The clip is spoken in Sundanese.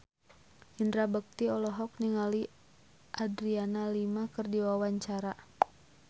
Indra Bekti olohok ningali Adriana Lima keur diwawancara